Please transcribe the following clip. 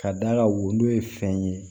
Ka d'a kan woro ye fɛn ye